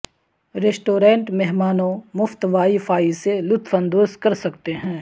restaurant مہمانوں مفت wi fi سے لطف اندوز کر سکتے ہیں